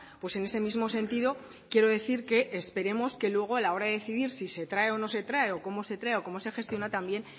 pues en ese mismo sentido quiero decir que esperemos que luego a la hora de decidir si se trae o no se trae o cómo se trae o cómo se gestiona también